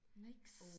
Niks